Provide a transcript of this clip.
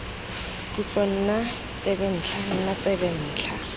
tlotlo nna tsebentlha nna tsebentlha